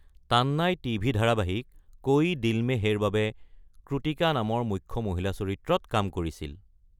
Tannai TV. ধাৰাবাহিক কোই দিল মে হেৰ বাবে ক্ৰূতিকা নামৰ মুখ্য মহিলা চৰিত্ৰত কাম কৰিছিল।